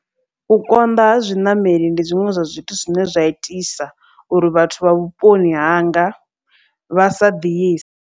U konḓa ha zwiṋameli ndi zwiṅwe zwa zwithu zwine zwa itisa uri vhathu vha vhuponi hanga vha sa ḓiise.